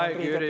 Aeg, Jüri!